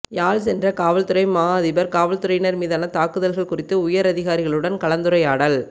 யாழ் சென்ற காவல்துறை மா அதிபர் காவல்துறையினர் மீதான தாக்குதல்கள் குறித்து உயரதிகாரிகளுடன் கலந்துரையாடல்